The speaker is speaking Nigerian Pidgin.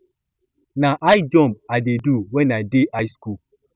na high jump i dey do wen i dey high school